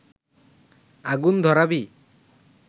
আগুন ধরাবি